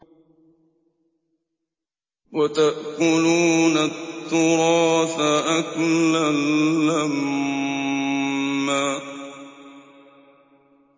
وَتَأْكُلُونَ التُّرَاثَ أَكْلًا لَّمًّا